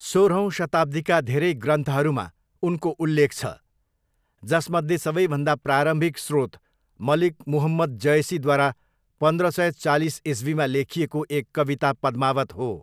सोह्रौँ शताब्दीका धेरै ग्रन्थहरूमा उनको उल्लेख छ, जसमध्ये सबैभन्दा प्रारम्भिक स्रोत मलिक मुहम्मद जयसीद्वारा पन्ध्र सय चालिस इस्वीमा लेखिएको एक कविता पद्मावत हो।